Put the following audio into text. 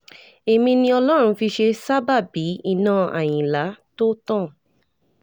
èmi ni ọlọ́run fi ṣe sábàábì iná àyìnlá tó tán